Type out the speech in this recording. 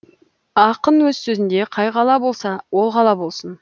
ақын өз сөзінде қай қала болса ол қала болсын